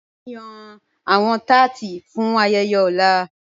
Mo n yan awọn tátí fún ayẹyẹ ọ̀lá.